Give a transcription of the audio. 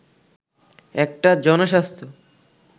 একটা জনস্বাস্থ্য